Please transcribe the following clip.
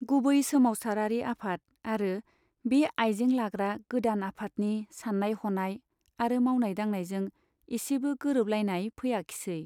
गुबै सोमाबसारारि आफाद आरो बे आइजें लाग्रा गोदान आफादनि सान्नाय हनाय आरो मावनाय दांनायजों एसेबो गोरोबलायनाय फैयाखिसै।